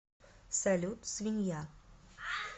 салют свинья